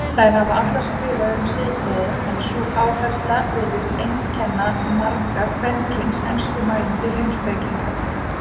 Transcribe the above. Þær hafa allar skrifað um siðfræði en sú áhersla virðist einkenna marga kvenkyns enskumælandi heimspekinga.